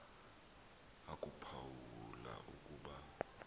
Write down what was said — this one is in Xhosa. akuphawu la ukuba